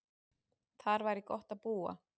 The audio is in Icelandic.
Þar væri gott að búa.